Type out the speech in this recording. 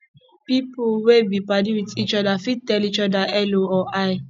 pipo wey be padi with each oda fit tell each oda hello or hi